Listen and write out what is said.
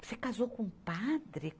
Você casou com um padre?